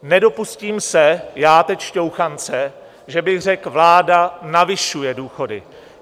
Nedopustím se já teď šťouchance, že bych řekl, vláda navyšuje důchody.